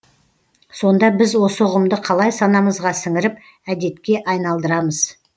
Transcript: сонда біз осы ұғымды қалай санамызға сіңіріп әдетке айналдырамыз